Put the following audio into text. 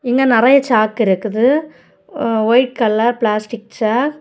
இங்க நரைய சாக்கிருக்குது. White colour plastic chalk.